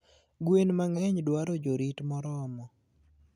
Gwen mangeny dwaro jorit moromo